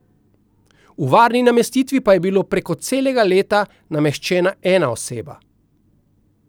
V varni namestitvi pa je bila preko celega leta nameščena ena oseba.